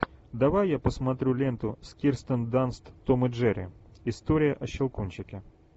давай я посмотрю ленту с кирстен данст том и джерри история о щелкунчике